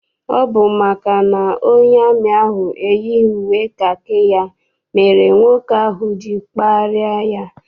Ọ bụ maka na onye amị ahụ eyighị uwe kakị ya mere nwoke ahụ ji kparịa ya.